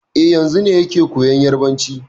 E, yanzun ne yake koyan Yarbanci.